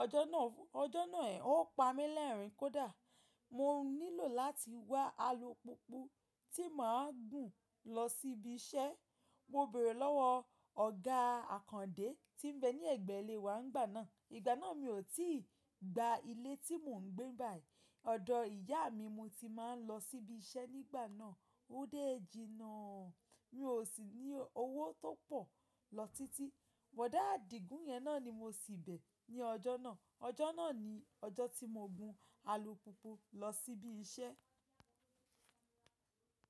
Ọjọ́ náà, ọjọ́ náà ò pa mí lẹ́rìn-ín kódà. Mo nílò láti wá alùpùpù tí màá gùn lọ síbi iṣẹ́. Mo bèrè lọ́wọ́ ọ̀gá Àkàndé tí ń bẹ ní ẹ̀gbẹ́ ilé wa nígbà náà. Ìgbà náà mi ò tíì gba ilé tí mò ń gbé báyìí. Odò ìyá mi mo ti máa ń lọ síbi iṣẹ́ nígbà náà. Ó déé ji ná. Mi ò sì ní owó tó pọ̀ lọ títí. Bọ̀dá Àdìgún yẹn náà ni mo ṣì bẹ ní ọjọ́ náà. Ọjọ́ náà ni ọjọ́ tí mo gun alùpùpù lọ sí ibi iṣẹ́